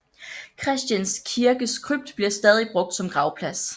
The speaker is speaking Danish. Christians kirkes krypt bliver stadig brugt som gravplads